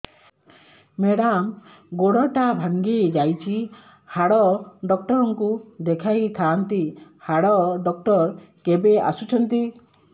madam ଗୋଡ ଟା ଭାଙ୍ଗି ଯାଇଛି ହାଡ ଡକ୍ଟର ଙ୍କୁ ଦେଖାଇ ଥାଆନ୍ତି ହାଡ ଡକ୍ଟର କେବେ ଆସୁଛନ୍ତି